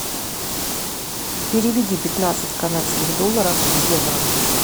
переведи пятнадцать канадских долларов в евро